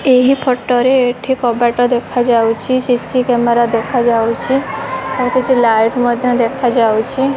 ଏହି ଫଟୋ ରେ ଏଠି କବାଟ ଦେଖାଯାଉଛି। ସି_ସି କ୍ୟାମେରା ଦେଖାଯାଉଛି। ଆଉ କିଛି ଲାଇଟ ମଧ୍ୟ ଦେଖାଯାଉଛି।